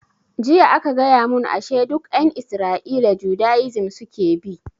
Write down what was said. Jiya aka gaya mun ashe duk ƴan isra'ila judaism suke bi